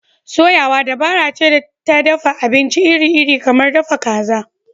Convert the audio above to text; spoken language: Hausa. Soyawa dabara ce ta dafa abinci iri-iri kamar dafa kaza.